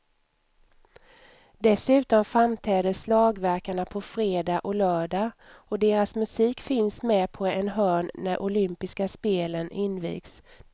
Dessutom framträder slagverkarna på fredag och lördag och deras musik finns med på en hörn när olympiska spelen invigs.